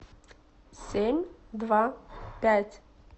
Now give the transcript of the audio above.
семь два пять